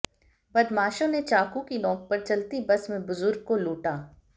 बदमाशो ने चाकू की नोक पर चलती बस में बुजुर्ग को लुटा